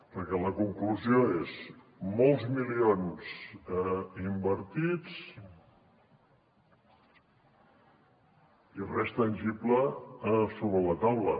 perquè la conclusió és molts milions invertits i res tangible sobre la taula